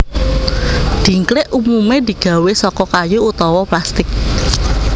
Dhingklik umumé digawé saka kayu utawa plastik